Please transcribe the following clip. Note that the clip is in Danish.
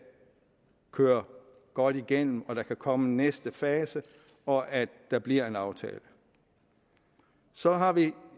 køre godt igennem at der kan komme en næste fase og at der bliver en aftale så har vi